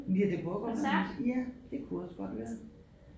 Ja det kunne også godt være ja det kunne også godt være